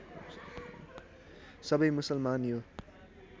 सबै मुसलमान यो